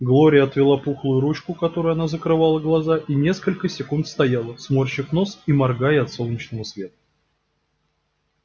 глория отвела пухлую ручку которой она закрывала глаза и несколько секунд стояла сморщив нос и моргая от солнечного света